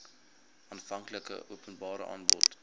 aanvanklike openbare aanbod